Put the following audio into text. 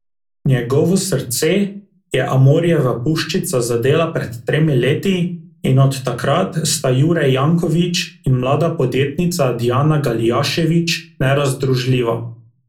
Njegovo srce je amorjeva puščica zadela pred tremi leti in od takrat sta Jure Janković in mlada podjetnica Dijana Galijaševič nerazdružljiva.